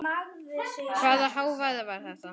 Hvaða hávaði var þetta?